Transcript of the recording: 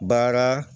Baara